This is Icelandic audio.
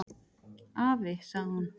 """Afi, sagði hún."""